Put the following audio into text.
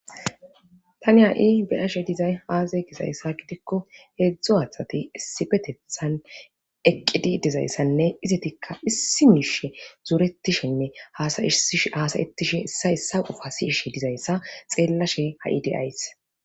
Tani ha'i beyashe dizay aazay gizayssa gidikko heedzdzu athati issipetethan eqqidi dizayssanne izetikka issi miishe zuretishenne hasayetishe issa issa ufa si ishe dizayssa xeella she ha'i deyays.